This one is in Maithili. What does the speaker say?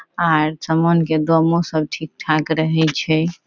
आर समान के दामो सब ठीक-ठाक रहे छै।